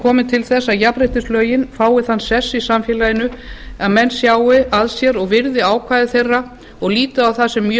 kominn til þess að jafnréttislögin fái þann sess í samfélaginu að menn sjái að sér og virði ákvæði þeirra og líti á það sem mjög